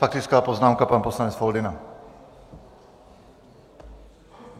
Faktická poznámka, pan poslanec Foldyna.